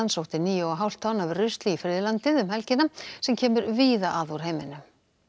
sótti níu og hálft tonn af rusli í friðlandið um helgina sem kemur víða að úr heiminum